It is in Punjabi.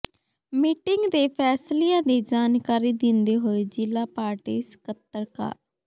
ਮੀਟਿੰਗ ਦੇ ਫੈਸਲਿਆਂ ਦੀ ਜਾਣਕਾਰੀ ਦਿੰਦੇ ਹੋਏ ਜ਼ਿਲ੍ਹਾ ਪਾਰਟੀ ਸਕੱਤਰ ਕਾ